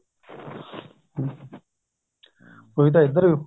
ਉਹ ਤਾਂ ਇੱਧਰ